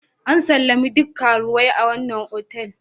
An sallami duk karuwai a wannan otal.